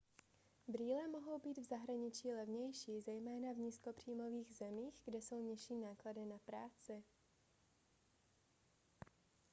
brýle mohou být v zahraničí levnější zejména v nízkopříjmových zemích kde jsou nižší náklady na na práci